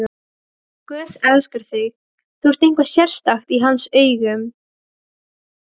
Guð elskar þig, þú ert eitthvað sérstakt í hans augum.